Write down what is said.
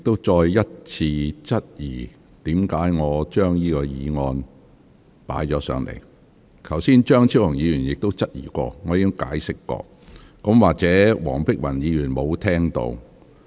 在張超雄議員早前提出同樣質疑時，我已作出解釋，或許黃碧雲議員沒有聽到。